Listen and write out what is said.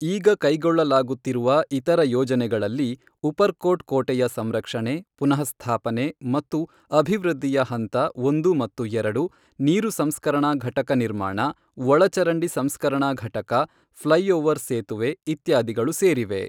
ಈಗ ಕೈಗೊಳ್ಳಲಾಗುತ್ತಿರುವ ಇತರ ಯೋಜನೆಗಳಲ್ಲಿ ಉಪರ್ಕೋಟ್ ಕೋಟೆಯ ಸಂರಕ್ಷಣೆ, ಪುನಃಸ್ಥಾಪನೆ ಮತ್ತು ಅಭಿವೃದ್ಧಿಯ ಹಂತ ಒಂದು ಮತ್ತು ಎರಡು ನೀರು ಸಂಸ್ಕರಣಾ ಘಟಕ ನಿರ್ಮಾಣ, ಒಳಚರಂಡಿ ಸಂಸ್ಕರಣಾ ಘಟಕ, ಫ್ಲೈಓವರ್ ಸೇತುವೆ, ಇತ್ಯಾದಿಗಳು ಸೇರಿವೆ.